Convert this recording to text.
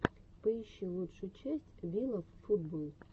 поищи лучшую часть вилавфутболл